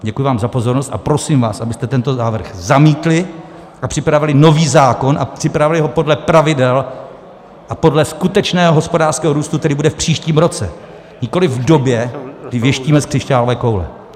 Děkuji vám za pozornost a prosím vás, abyste tento návrh zamítli a připravili nový zákon a připravili ho podle pravidel a podle skutečného hospodářského růstu, který bude v příštím roce, nikoliv v době, kdy věštíme z křišťálové koule.